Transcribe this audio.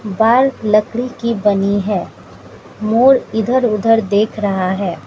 Wall लकड़ी की बनी है मोर इधर उधर देख रहा है।